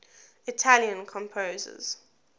italian composers